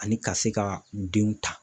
Ani ka se ka u denw ta